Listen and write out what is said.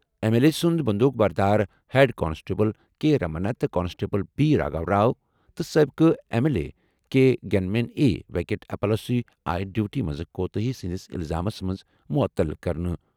M L A سُنٛد بٔنٛدوٗق بردار، ہیڈ کانسٹیبل کے رمنا تہٕ کانسٹیبل بی راگھو راؤ تہٕ سٲبقہٕ M L A K gunman A Venkat Appalaswamy آیہِ ڈیوٹی منٛز کوتاہی ہٕنٛدِس الزامَس منٛز معطل کرنہٕ۔